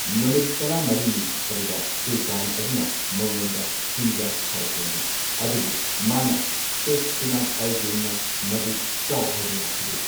ꯅꯨꯃꯤꯠ ꯇꯔꯥꯃꯔꯤꯅꯤ ꯑꯗꯨꯗ ꯁꯨꯜꯇꯥꯟ ꯑꯗꯨꯅ ꯃꯉꯣꯟꯗ ꯆꯤꯟꯖꯥꯛ ꯊꯥꯔꯛꯂꯝꯃꯤ꯫ ꯑꯗꯨꯕꯨ ꯃꯥꯅ ꯁꯦꯈ ꯁꯤꯅꯥꯕ ꯑꯜ ꯗꯤꯟ ꯅꯥ ꯃꯗꯨ ꯆꯥꯎ ꯍꯥꯏꯕ ꯌꯥꯈꯤꯗꯦ꯫